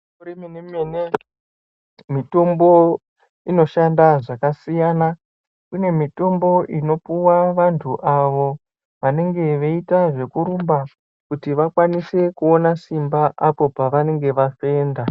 Kuremene mene Mitombo inoshanda zvakasiyana kune mitombo inopiwa vantu avo vanenge veiita zvekurumba kuti vakwanise kuona simba apo pavanenge vafenda.